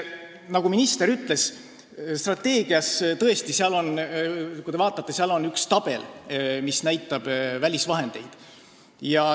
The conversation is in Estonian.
Nagu minister ütles, strateegias on tõesti üks tabel, mis näitab välisvahendeid.